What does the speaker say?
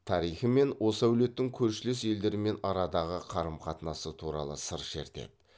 тарихы мен осы әулеттің көршілес елдермен арадағы қарым қатынасы туралы сыр шертеді